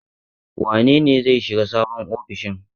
Wane ne zai shiga sabon ofishin?